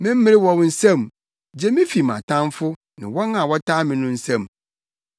Me mmere wɔ wo nsam gye me fi mʼatamfo ne wɔn a wɔtaa me no nsam.